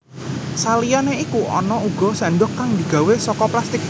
Saliyané iku ana uga séndhok kang digawé saka plastik